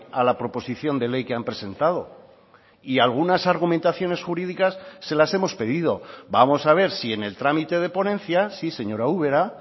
a la proposición de ley que han presentado y algunas argumentaciones jurídicas se las hemos pedido vamos a ver si en el trámite de ponencias sí señora ubera